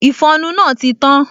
Ìfọnu náà ti tán